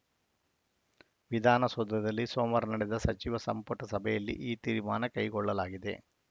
ವಿಧಾನಸೌಧದಲ್ಲಿ ಸೋಮವಾರ ನಡೆದ ಸಚಿವ ಸಂಪುಟ ಸಭೆಯಲ್ಲಿ ಈ ತೀರ್ಮಾನ ಕೈಗೊಳ್ಳಲಾಗಿದೆ